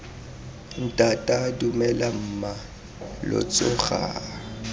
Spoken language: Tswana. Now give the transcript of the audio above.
ntata dumela mma lo tsoga